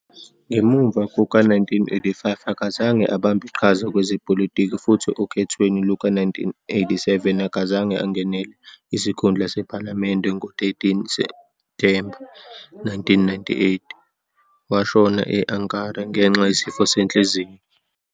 Ngemuva kuka-1985, akazange abambe iqhaza kwezepolitiki, futhi okhethweni luka-1987, akazange angenele isikhundla sephalamende. Ngo-13 Septhemba 1998, washona e-Ankara ngenxa yesifo senhliziyo.